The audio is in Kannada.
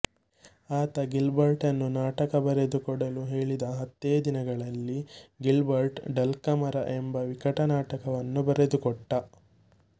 ಆತ ಗಿಲ್ಬರ್ಟ್ನನ್ನು ನಾಟಕ ಬರೆದು ಕೊಡಲು ಕೇಳಿದ ಹತ್ತೆ ದಿನಗಳಲ್ಲಿ ಗಿಲ್ಬರ್ಟ್ ಡಲ್ಕಾಮರ ಎಂಬ ವಿಕಟನಾಟಕವನ್ನು ಬರೆದುಕೊಟ್ಟ